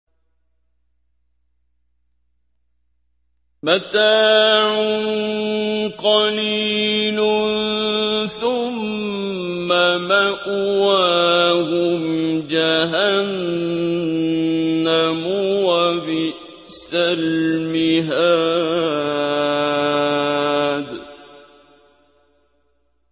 مَتَاعٌ قَلِيلٌ ثُمَّ مَأْوَاهُمْ جَهَنَّمُ ۚ وَبِئْسَ الْمِهَادُ